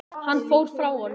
Hann fór frá honum.